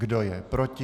Kdo je proti?